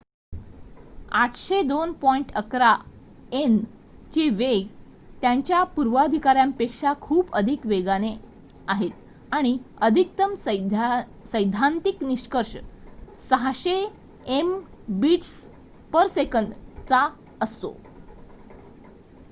802.11 n चे वेग त्याच्या पूर्वाधिकाऱ्यांपेक्षा खूप अधिक वेगाने आहेत आणि अधिकतम सैद्धांतिक निष्कर्ष 600 mbit/s चा असतो